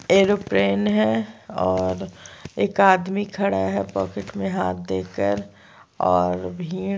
aeroplane है और एक आदमी खड़ा है पॉकेट में हाथ देकर और भीड़--